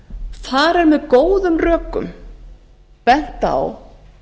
þar er með góðum rökum bent á